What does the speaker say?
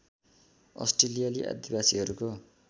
अस्ट्रेलियाली आदिवासीहरूको